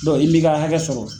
Dɔnki i m'i ka hakɛ sɔrɔ.